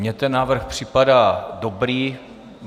Mně ten návrh připadá dobrý.